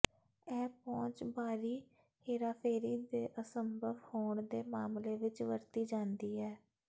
ਇਹ ਪਹੁੰਚ ਬਾਹਰੀ ਹੇਰਾਫੇਰੀ ਦੀ ਅਸੰਭਵ ਹੋਣ ਦੇ ਮਾਮਲੇ ਵਿੱਚ ਵਰਤੀ ਜਾਂਦੀ ਹੈ